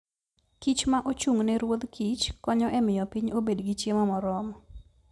kich ma ochung' ne ruodh kich konyo e miyo piny obed gi chiemo moromo.